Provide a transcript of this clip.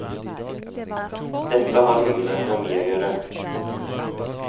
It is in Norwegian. Dette har mye med økonomi å gjøre.